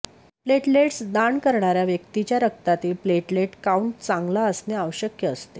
platelets दान करणाऱया व्यक्तीच्या रक्तातील प्लेटलेट काऊंट चांगला असणे आवश्यक असते